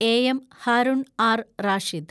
A. M, Harun R Rashid